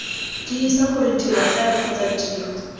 tiisa gore tirogae kgotsa tiro